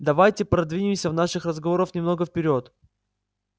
давайте продвинемся в наших разговорах немного вперёд